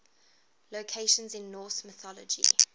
locations in norse mythology